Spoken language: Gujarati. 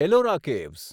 એલોરા કેવ્સ